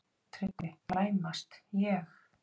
TRYGGVI: Klæmast, ég?